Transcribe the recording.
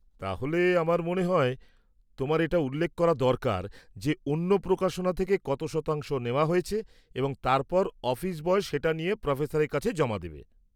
তাহলে আমার মনে হয় তোমার এটা উল্লেখ করা দরকার যে অন্য প্রকাশনা থেকে কত শতাংশ নেওয়া হয়েছে, এবং তারপর অফিস বয় সেটা নিয়ে প্রোফেসরের কাছে জমা দেবে।